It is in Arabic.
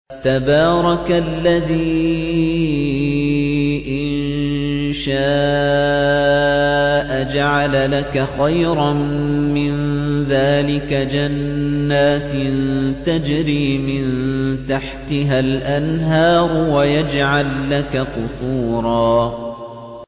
تَبَارَكَ الَّذِي إِن شَاءَ جَعَلَ لَكَ خَيْرًا مِّن ذَٰلِكَ جَنَّاتٍ تَجْرِي مِن تَحْتِهَا الْأَنْهَارُ وَيَجْعَل لَّكَ قُصُورًا